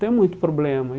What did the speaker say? Tem muito problema.